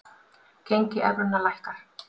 Gengi evrunnar lækkar